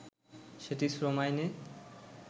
সেটি শ্রম আইনে